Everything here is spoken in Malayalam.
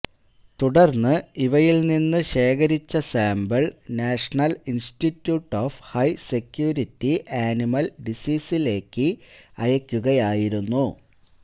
തുടര്ന്ന് ഇവയില് നിന്ന് ശേഖരിച്ച sample national institute of high security animal ഡിസീസസിലേക്ക് അയക്കുകയായിരുന്നു